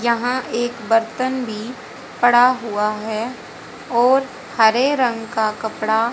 यहां एक बर्तन भी पड़ा हुआ है और हरे रंग का कपड़ा--